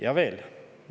Ja veel.